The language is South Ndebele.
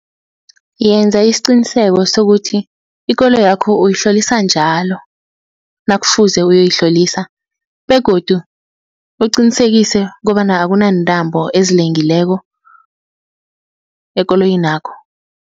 Yenza isiqiniseko sokuthi ikoloyakho uyihlolisa njalo nakufuze uyoyihlolisa begodu, uqinisekise kobana akunaantambo ezilengileko ekoloyinakho.